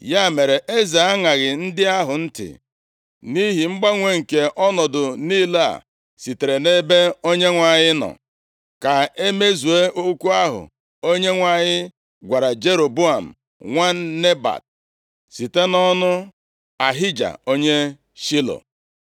Ya mere, eze aṅaghị ndị ahụ ntị, nʼihi mgbanwe nke ọnọdụ niile a sitere nʼebe Onyenwe anyị nọ, ka e mezuo okwu ahụ Onyenwe anyị gwara Jeroboam nwa Nebat site nʼọnụ Ahija onye Shilo.